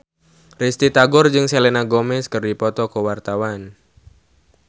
Risty Tagor jeung Selena Gomez keur dipoto ku wartawan